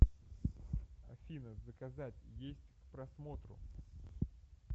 афина заказать есть к просмотру